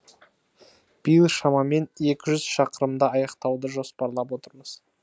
биыл шамамен екі жүз шақырымды аяқтауды жоспарлап отырмыз